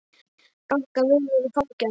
Ranka við mér í fangi hans.